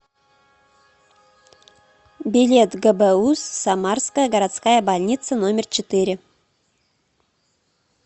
билет гбуз самарская городская больница номер четыре